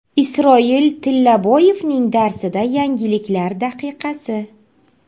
Isroil Tillaboyevning darsida yangiliklar daqiqasi.